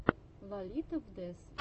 лолито фдез